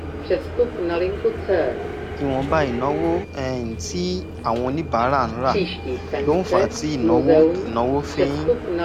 ìwọ̀nba ìnáwó um tí àwọn oníbàárà ń ra ló ń fà á tí ìnáwó ìnáwó fi ń